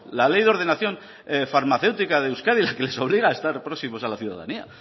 la ley de ordenación farmacéutica de euskadi les obliga a estar próximos a la ciudadanía